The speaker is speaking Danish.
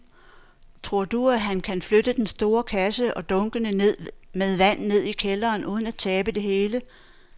Tror du, at han kan flytte den store kasse og dunkene med vand ned i kælderen uden at tabe det hele?